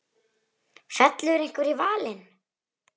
Fellur einhver í valinn?